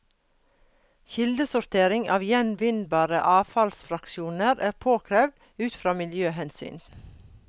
Kildesortering av gjenvinnbare avfallsfraksjoner er påkrevd ut fra miljøhensyn.